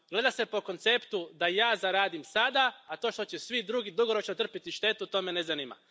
Gleda se po konceptu da ja zaradim sada, a to što će svi drugi dugoročno trpjeti štetu, to me ne zanima.